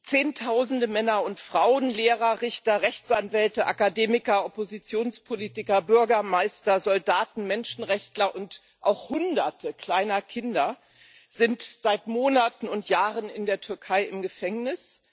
Zehntausende Männer und Frauen Lehrer, Richter, Rechtsanwälte, Akademiker, Oppositionspolitiker, Bürgermeister, Soldaten, Menschenrechtler und auch Hunderte kleiner Kinder sind seit Monaten und Jahren in der Türkei im Gefängnis.